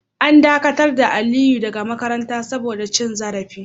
An dakatar da Aliyu daga makaranta saboda cin zarafi.